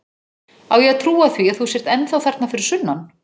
Á ég að trúa því að þú sért ennþá þarna fyrir sunnan?